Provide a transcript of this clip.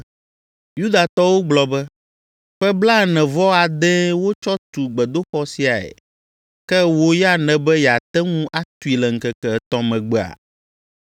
Yudatɔwo gblɔ be, “Ƒe blaene-vɔ-adee wotsɔ tu gbedoxɔ siae. Ke wò ya nèbe yeate ŋu atui le ŋkeke etɔ̃ megbea?”